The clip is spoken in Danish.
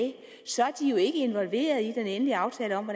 er de ikke involverede i den endelige aftale om